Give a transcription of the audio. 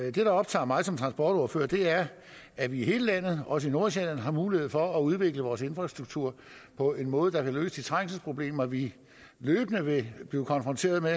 i det der optager mig som transportordfører er at vi i hele landet også i nordsjælland har mulighed for at udvikle vores infrastruktur på en måde der kan løse de trængselsproblemer vi løbende vil blive konfronteret med